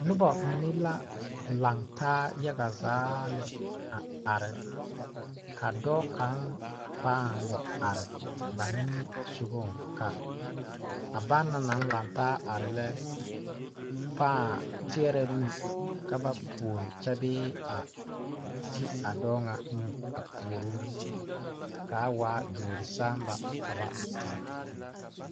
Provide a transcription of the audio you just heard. Noba mine la laŋ taa yaga zaa lɛ a are ka dɔɔ kaŋ pãã wa are ba nimisogaŋ ka banaŋ naŋ laŋ taa are lɛ pãã teɛrɛ nu ka ba puori kyɛ bee a ti a dɔɔ ŋa nu a puori o k,a waa duori saama ka ba terɛ.